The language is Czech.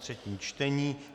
třetí čtení